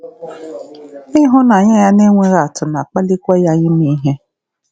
Ịhụnanya ya nenweghị atụ na-akpalikwa ya ime ihe.